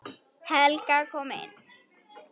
Helga kom inn.